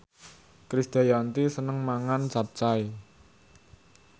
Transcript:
Krisdayanti seneng mangan capcay